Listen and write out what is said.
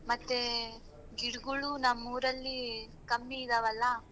ಹ್ಮ್ ಮತ್ತೆ ಗಿಡ್ಗೋಳು ನಮ್ಮ್ ಊರಲ್ಲಿ ಕಮ್ಮಿ ಇದಾವಲ್ಲ.